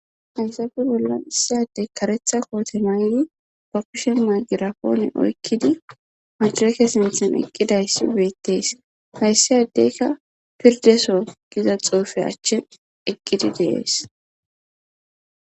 Haysafe bollan issiyadey karetha koote naydi pakishen majirapoone oykkidi majreke sinthan eqqidayss ubeettees hayssi addeykka pirdeso giza xoofe achchin eqgidi dees.